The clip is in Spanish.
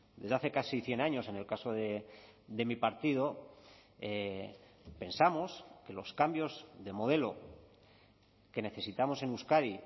desde hace casi cien años en el caso de mi partido pensamos que los cambios de modelo que necesitamos en euskadi